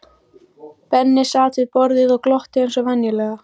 Benni sat við borðið og glotti eins og venjulega.